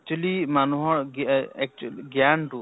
actually মানুহৰ গি এ actually জ্ঞান টো